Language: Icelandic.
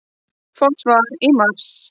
Fá svar í mars